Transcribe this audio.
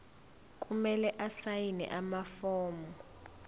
kumele asayine amafomu